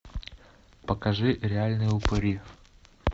покажи реальные упыри